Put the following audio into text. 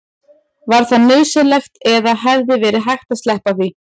var það nauðsynlegt eða hefði verið hægt að sleppa því